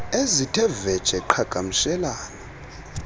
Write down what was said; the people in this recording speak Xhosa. ezithe vetshe qhagamshelana